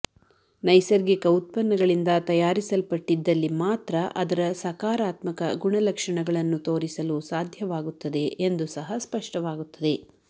ನೈಸರ್ಗಿಕ ಉತ್ಪನ್ನಗಳಿಂದ ತಯಾರಿಸಲ್ಪಟ್ಟಿದ್ದಲ್ಲಿ ಮಾತ್ರ ಅದರ ಸಕಾರಾತ್ಮಕ ಗುಣಲಕ್ಷಣಗಳನ್ನು ತೋರಿಸಲು ಸಾಧ್ಯವಾಗುತ್ತದೆ ಎಂದು ಸಹ ಸ್ಪಷ್ಟವಾಗುತ್ತದೆ